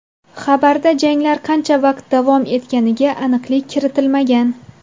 Xabarda janglar qancha vaqt davom etganiga aniqlik kiritilmagan.